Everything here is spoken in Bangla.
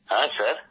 হ্যাঁ স্যার